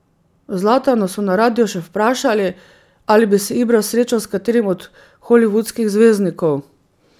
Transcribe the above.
Zlatana so na radiu še vprašali, ali bi se Ibra srečal s katerim od holivudskih zvezdnikov.